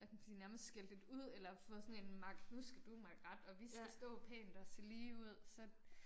Hvad kan man sige nærmest skældt lidt ud eller fået sådan en mak nu skal du makke ret og vi skal stå pænt og se lige ud så